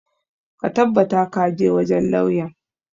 Ka tabbata ka je wajen lauyan!